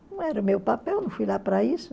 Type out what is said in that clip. Não era meu papel, não fui lá para isso.